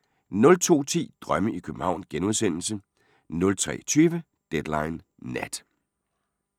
02:10: Drømme i København * 03:20: Deadline Nat